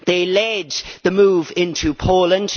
They led the move into Poland.